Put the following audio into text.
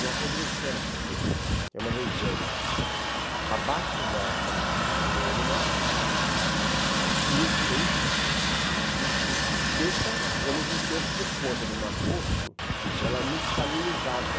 Não apodreceram, porque é uma região abaixo da da do nível do mar, muito quente e e e seca, e ao mesmo tempo, por conta do Mar Morto, ela é muito salinizada.